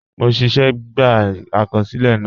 Mo ṣẹ́ṣẹ́ gbà àkọsílẹ̀ náà